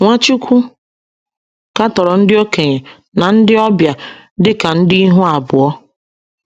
Nwachukwu katọrọ ndị okenye na ndị ọbia dị ka ndị ihu abụọ.